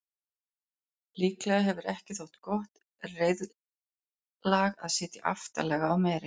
Líklega hefur ekki þótt gott reiðlag að sitja aftarlega á meri.